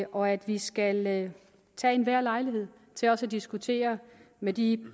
og at vi skal benytte enhver lejlighed til også at diskutere med de